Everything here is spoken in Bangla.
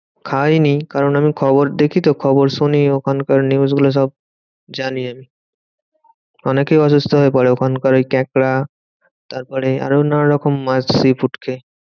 খাইনি কারণ আমি খবর দেখিতো খবর শুনি ওখানকার news গুলো সব জানি আমি। অনেকে অসুস্থ হয়ে পরে ওখানকার ওই কাঁকড়া তারপরে আরো নানান রকম মাছ sea food খেয়ে।